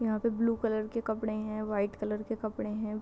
यहाँ पे blue colour के कपड़े है वाइट कलर के कपड़े है।